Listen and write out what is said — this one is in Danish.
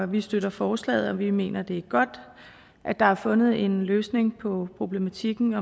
vi støtter forslaget og vi mener det er godt at der er fundet en løsning på problematikken